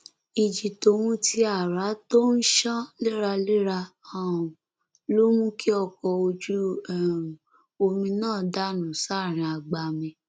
ìjì tóhun tí àrá tó ń ṣán léraléra um ló mú kí ọkọ ojú um omi náà dànù sáàrin agbami